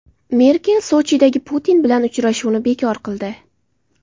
Merkel Sochidagi Putin bilan uchrashuvni bekor qildi.